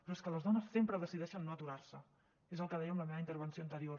però és que les dones sempre decideixen no aturar se és el que deia en la meva intervenció anterior